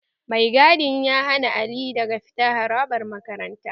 Mai gadin ya hana Ali daga fita harabar makarantar